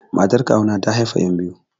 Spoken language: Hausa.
Matar kawu na ta haifa yan biyu.